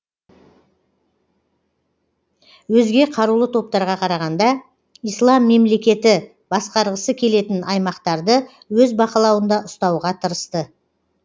өзге қарулы топтарға қарағанда ислам мемлекеті басқарғысы келетін аймақтарды өз бақылауында ұстауға тырысты